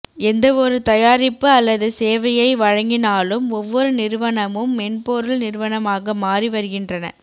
எந்தவொரு தயாரிப்பு அல்லது சேவையை வழங்கினாலும் ஒவ்வொரு நிறுவனமும் மென்பொருள் நிறுவனமாக மாறி வருகின்றன